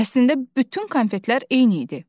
Əslində bütün konfetlər eyni idi.